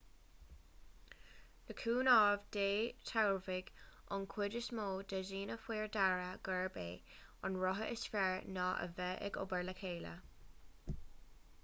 le cúnamh dé tabharfaidh an chuid is mó de dhaoine faoi deara gurb é an rogha is fearr ná a bheith ag obair le chéile